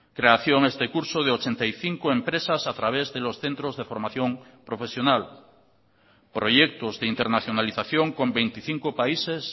creación este curso de ochenta y cinco empresas a través de los centros de formación profesional proyectos de internacionalización con veinticinco países